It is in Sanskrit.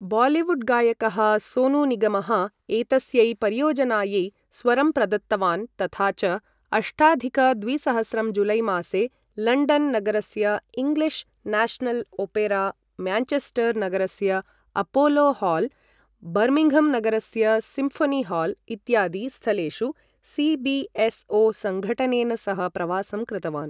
बालिवुड् गायकः सोनू निगमः एतस्यै परियोजनायै स्वरं प्रदत्तवान् तथा च अष्टाधिक द्विसहस्रं जुलै मासे लण्डन् नगरस्य इङ्ग्लिष् न्याषनल् ओपेरा, म्यान्चेस्टर् नगरस्य अपोलो हाल्, बर्मिन्घम् नगरस्य सिम्फोनी हाल् इत्यादि स्थलेषु सी.बी.एस.ओ. सङ्घटनेन सह प्रवासं कृतवान्।